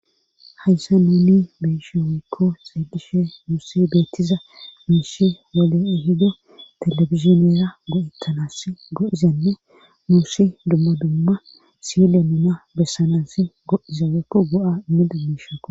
Hayssa nuni beeshe weykko xeegishe muusse beettiza miishi wole e hido talebiziniyeera go7ettanas go7izanne murshi dumma dumma sile nuna bessanas go7iza weykko go7a inne dummishako